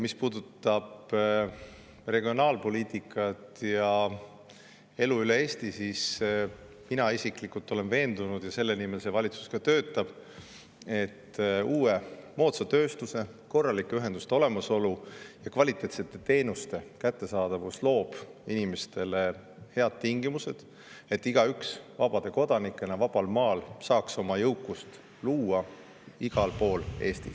Mis puudutab regionaalpoliitikat ja elu üle Eesti, siis mina isiklikult olen veendunud – ja selle nimel see valitsus ka töötab –, et uue, moodsa tööstuse ning korralike ühenduste olemasolu ja kvaliteetsete teenuste kättesaadavus loob inimestele head tingimused, nii et igaüks saaks vaba kodanikuna vabal maal luua jõukust ükskõik kus Eestis.